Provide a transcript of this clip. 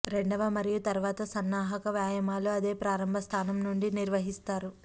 రెండవ మరియు తరువాత సన్నాహక వ్యాయామాలు అదే ప్రారంభ స్థానం నుండి నిర్వహిస్తారు